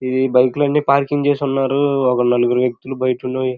ఈ బిక్ లు అన్నీ పార్కింగ్ చేసి ఉన్నారు. ఒక నలుగురు వెక్తులు బయట --